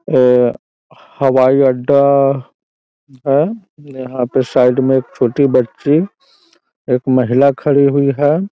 अ हवाई अड्डा है यहाँ पे साइड में छोटी बच्ची एक महिला खड़ी हुई है।